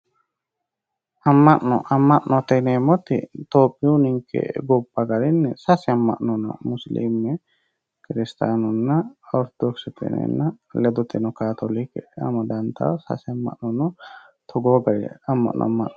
Amma'no amma'note yineemmoti tophiyu ninke gobba garinni sase amma'no no musilime kiristiyanunna ortodokise ledoteno kaatoolike amadantawo sase amma'no no Togo gari amma'no ama'no